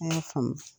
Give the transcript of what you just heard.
A y'a faamu